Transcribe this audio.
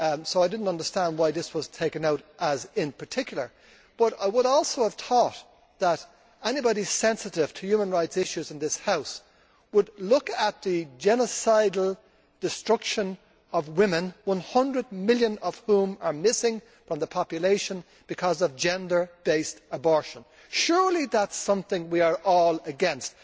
I did not understand why this was taken out in particular, but I would also have thought that anybody sensitive to human rights issues in this House would look at the genocidal destruction of women, one hundred million of whom are missing from the population as a result of gender based abortion. Surely that is something we are all against.